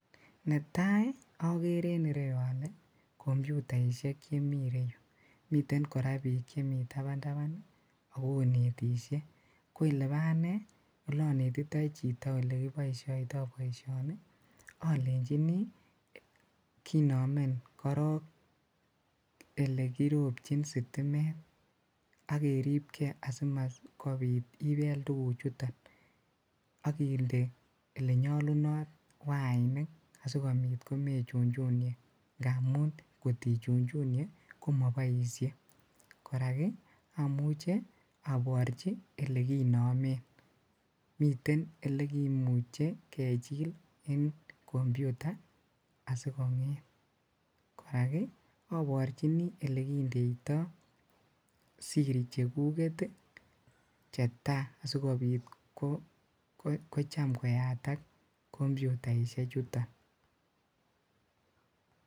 Netai okeree komyutaisiek en yuh, mitten kora biik chemi tabantaban I ak konetishie. Ko elebo ane ale anetito chito olekiboishotoi boishoni alenyini kinome kinomen korong OLE kinyorchin sitimet ak keerib gee asikobiit komebel tuguchuton. ak kinde olenyolunot waini asikobiit komechunchunie, ngamun ngot ichunchunie komoboishie, Ko raak amuche aborchi ole kinomen, miten ole kimuche kechil eng komyuta asikongeet. Korak aborchini olekindeeito siri chekuket chetai asikobiit kocham koyaatak komyutaisiekchuton